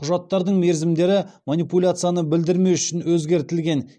құжаттардың мерзімдері манипуляцияны білдірмес үшін өзгертілген